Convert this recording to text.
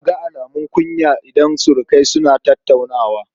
Za a ga alumun kunya idan surukai suna tattaunawa.